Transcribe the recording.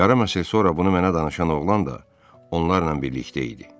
Yarım əsr sonra bunu mənə danışan oğlan da onlarla birlikdə idi.